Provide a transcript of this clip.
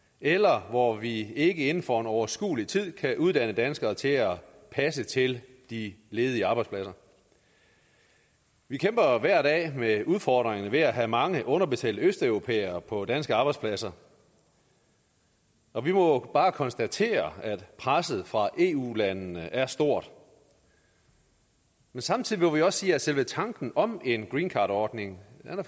eller hvor vi ikke inden for en overskuelig tid kan uddanne danskere til at passe til de ledige arbejdspladser vi kæmper hver dag med udfordringerne ved at have mange underbetalte østeuropæere på danske arbejdspladser og vi må bare konstatere at presset fra eu landene er stort samtidig må vi også sige at selve tanken om en greencardordning